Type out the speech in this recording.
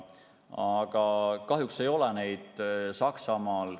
Aga kahjuks ei ole neid Saksamaal.